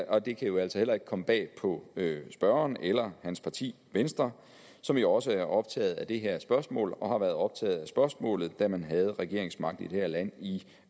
og det kan jo altså heller ikke komme bag på spørgeren eller hans parti venstre som jo også er optaget af det her spørgsmål og har været optaget af spørgsmålet da man havde regeringsmagten i det her land i